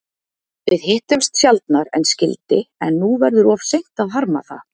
Við hittumst sjaldnar en skyldi, en nú verður of seint að harma það.